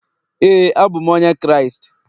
Éè, abụ m onye Kraịst